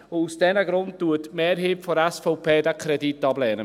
Aus diesen Gründen lehnt die Mehrheit der SVP diesen Kredit ab.